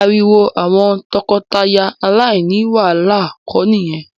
Ariwo àwọn tọkọtaya aláìní wàhálà kọ ni ìyẹn